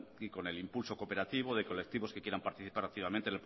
y con el impulso cooperativo de colectivos que quieran participar activamente en